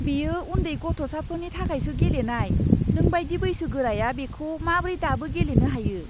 बेयो उन्दै गथ'साफोरनि थाखायसो गेलेनाय। नोंबायदि बैसोगोराया बेखौ माब्रै दाबो गेलेनो हायो?